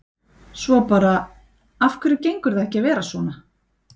Svo bara, af hverju gengur það ekki að vera svona?